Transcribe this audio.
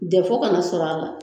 kana sɔrɔ a la.